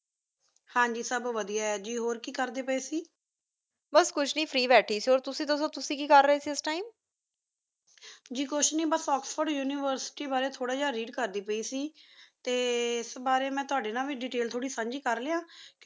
T ਇਸ ਬਰੀ ਮੈਂ ਤਵਾਡੀ ਨਾਲ ਵੇ Detail ਥੋਰੀ ਸੰਜੀ ਕਰ ਲਿਯਾ